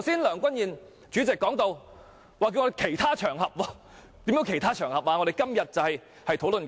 梁君彥主席剛才請我們另覓其他場合討論，其他場合是甚麼呢？